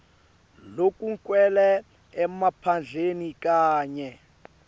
lokugcwele emaphandleni kanye